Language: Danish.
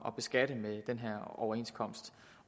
at beskatte med den her overenskomst